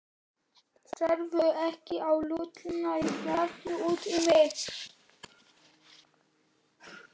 Sérðu ekki að Lúlli er bálreiður út í mig?